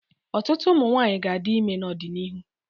Ọtụtụ ụmụ nwaanyi ga-adị ime n'ọdịnihu.